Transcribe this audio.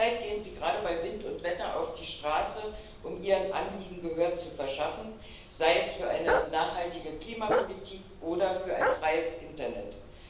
zurzeit gehen sie gerade bei Wind und Wetter auf die Straße, um ihren Anliegen Gehör zu verschaffen, sei es für eine nachhaltige Klimapolitik oder für ein freies Internet.